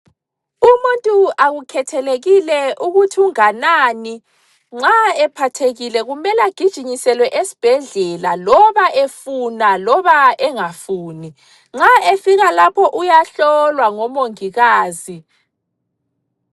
Umuntu akukhethelekile ukuthi unganani. Nxa ephathekile kumele agijinyiselwe esibhedlela loba efuna loba engafuni. Nxa efika lapho uyahlolwa ngomongikazi.